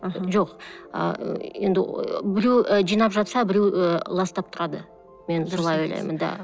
аха жоқ ы енді біреу ы жинап жатса біреу ы ластап тұрады мен солай ойлаймын да